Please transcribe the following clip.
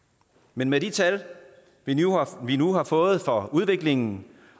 men med de tal vi nu har fået for udviklingen